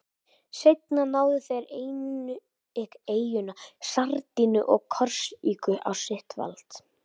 Seinna náðu þeir einnig eyjunum Sardiníu og Korsíku á sitt vald.